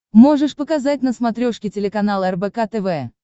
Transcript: можешь показать на смотрешке телеканал рбк тв